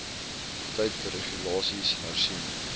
tyd regulasies hersien